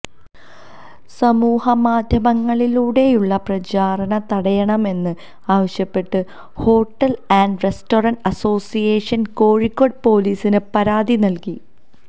സമൂഹമാധ്യമങ്ങളിലൂടെയുള്ള പ്രചാരണം തടയണമെന്ന് ആവശ്യപ്പെട്ട് hotel and restaurant association Kozhikode പൊലീസിന് പരാതി നല്കി